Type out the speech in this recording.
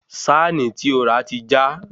sáànì tí o rà ti já